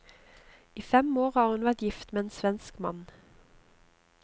I fem år har hun vært gift med en svensk mann.